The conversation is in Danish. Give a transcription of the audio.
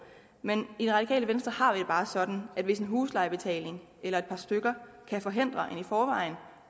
men i radikale venstre har vi det bare sådan at hvis en huslejebetaling eller et par stykker kan forhindre en i forvejen